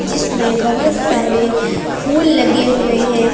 जिसमें बहुत सारे फूल लगे हुए हैं।